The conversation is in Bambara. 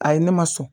A ye ne ma sɔn